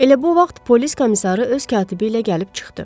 Elə bu vaxt polis komissarı öz katibi ilə gəlib çıxdı.